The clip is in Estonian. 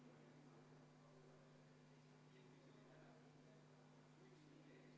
Kas on veel fraktsioonide esindajatel soovi sõna võtta?